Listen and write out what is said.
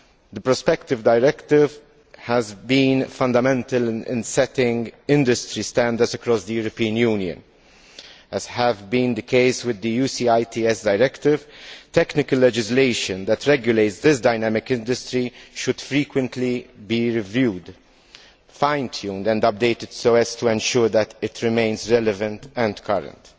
The Prospective Directive has been fundamental in setting industry standards across the European Union, as has been the case with the UCITS Directive. Technical legislation that regulates this dynamic industry should frequently be reviewed, fine tuned and updated so as to ensure that it remains relevant and current.